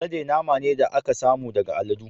Alade nama ne da aka samu daga aladu.